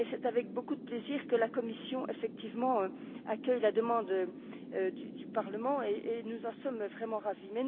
C'est avec beaucoup de plaisir que la Commission, effectivement, accueille la demande du Parlement, et nous en sommes vraiment ravis.